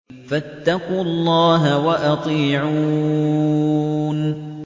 فَاتَّقُوا اللَّهَ وَأَطِيعُونِ